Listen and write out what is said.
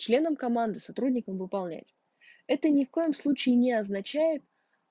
членом команды сотрудникам выполнять это ни в коем случае не означает